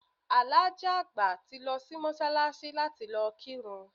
Alhaji àgbà ti lo sí Mósálasí láti lo kírun